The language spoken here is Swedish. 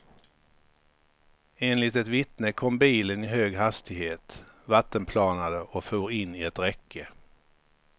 Enligt ett vittne kom bilen i hög hastighet, vattenplanade och for in i ett räcke.